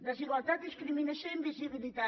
desigualtat discriminació i invisibilitat